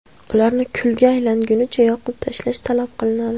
Ularni kulga aylangunicha yoqib tashlash talab qilinadi.